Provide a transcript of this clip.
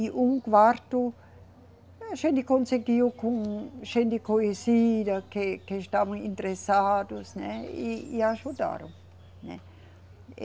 E um quarto a gente conseguiu com gente conhecida, que, que estavam interessados, né e, e ajudaram, né.